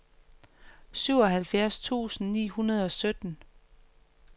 syvoghalvfjerds tusind ni hundrede og sytten